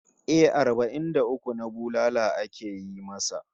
Eh, arbai'n da uku na bulala ake yi masa